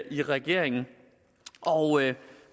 i regeringen og